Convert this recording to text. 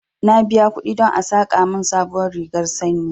Na biya kuɗi don a saƙa mun sabuwar rigar sanyi